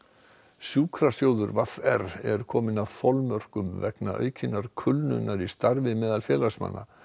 sjúkrasjóður v r er kominn að þolmörkum vegna aukinnar kulnunar í starfi meðal félagsmanna